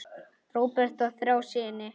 Róbert á þrjá syni.